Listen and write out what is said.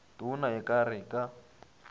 tona e ka re ka